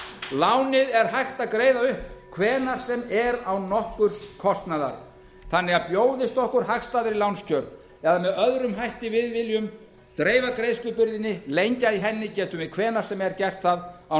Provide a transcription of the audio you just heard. lánið er hægt að greiða upp hvenær sem er án nokkurs kostnaðar þannig að bjóðist okkur hagstæðari lánskjör eða með öðrum hætti við viljum dreifa í greiðslubyrðinni lengja í enn i getum við hvenær sem er gert það án